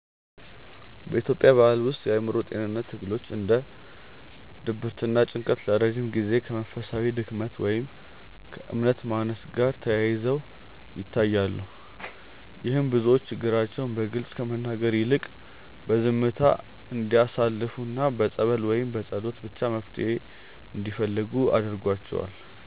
በኢትዮጵያ ባሕል ውስጥ የአእምሮ ጤንነት ትግሎች እንደ ድብርትና ጭንቀት ለረጅም ጊዜ ከመንፈሳዊ ድክመት ወይም ከእምነት ማነስ ጋር ተያይዘው ይታያሉ። ይህም ብዙዎች ችግራቸውን በግልጽ ከመናገር ይልቅ በዝምታ እንዲያሳልፉና በጸበል ወይም በጸሎት ብቻ መፍትሔ እንዲፈልጉ አድርጓቸዋል።